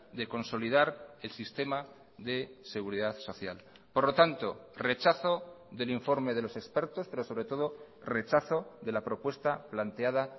de consolidar el sistema de seguridad social por lo tanto rechazo del informe de los expertos pero sobre todo rechazo de la propuesta planteada